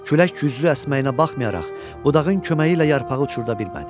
Külək güclü əsməyinə baxmayaraq, budağın köməyi ilə yarpağı uçurda bilmədi.